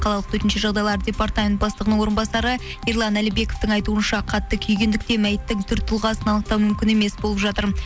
қалалық төтенше жағдайлар департмент бастығының орынбасары ерлан әлібековтің айтуынша қатты күйгендіктен мәйіттің түр тұлғасын анықтау мүмкін емес болып жатыр